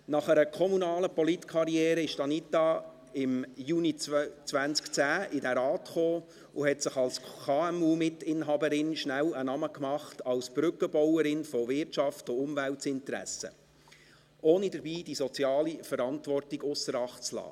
Nach einer kommunalen Politkarriere kam Anita Luginbühl im Juni 2010 in diesen Rat und machte sich als KMU-Mitinhaberin schnell einen Namen als Brückenbauerin von Wirtschaft- und Umweltinteressen, ohne dabei die soziale Verantwortung ausser Acht zu lassen.